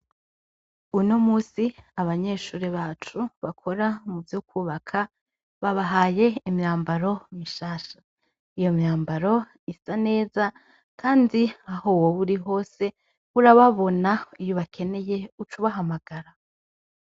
Uno musi abanyeshure bacu bakora mu vyo kwubaka babahaye imyambaro mishasha, iyo myambaro imeze neza kandi aho woba uri hose urababona iyo ubakeye uca ubahamagara.